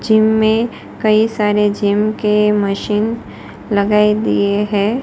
Gym में कई सारे जिम के मशीन लगाए दिए है।